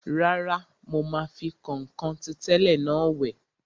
Rárá, mo máa fi kọ̀nkọ̀n ti tẹ́lẹ̀ náà wẹ̀